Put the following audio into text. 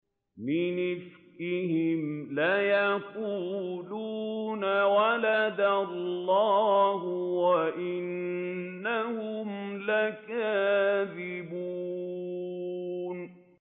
وَلَدَ اللَّهُ وَإِنَّهُمْ لَكَاذِبُونَ